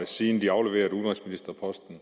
siden de afleverede udenrigsministerposten